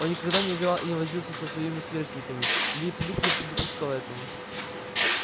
он никогда не играл и не возился со своими сверстниками лип лип не допускал этого